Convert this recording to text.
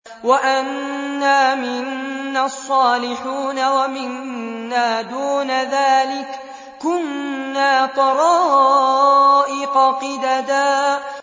وَأَنَّا مِنَّا الصَّالِحُونَ وَمِنَّا دُونَ ذَٰلِكَ ۖ كُنَّا طَرَائِقَ قِدَدًا